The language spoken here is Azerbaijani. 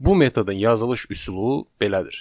Bu metodun yazılış üsulu belədir.